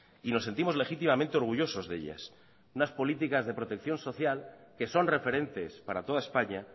y nos sentimos legítimamente orgullosos de ellas unas políticas de protección social que son referentes para toda españa